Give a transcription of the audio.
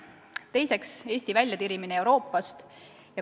Teiseks, Eesti väljatirimine Euroopast.